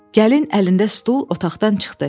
Gəlin əlində stul otaqdan çıxdı.